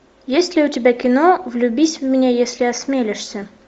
есть ли у тебя кино влюбись в меня если осмелишься